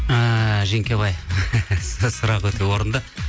ыыы жеңкебай сұрақ өте орынды